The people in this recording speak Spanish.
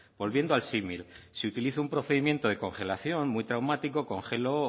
volviendo al símil si utilizo un procedimiento de congelación muy traumático congelo o